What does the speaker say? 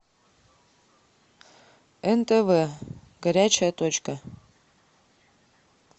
нтв горячая точка